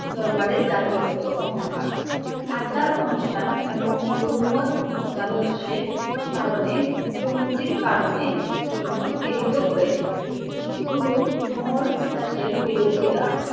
দরবারে চাকরি করতো অহংকার। আচার অনুষ্ঠান এবং গুরুর মত মতাদর্শের কারনে গুরুমতির কারণে জন্য পীড়িত করেছিল। গুরু অমরদাস এর বিরোধীরা